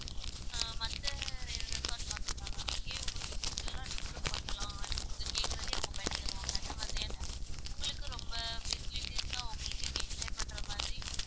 அஹ் மத்த re~ resorts மாதிரி தான் ma'am இங்கயும் உங்களுக்கு food எல்லாம் நீங்களும் பண்ணலாம் நீங்க கேக்கறதயே அவங்க பண்ணி தருவாங்க அந்த மாதிரியான உங்களுக்கும் ரொம்ப facilities லாம் உங்களுக்கு இங்க enjoy பண்ற மாதிரி